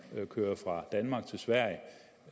man kører fra danmark til sverige